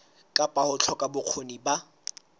kapa ho hloka bokgoni ba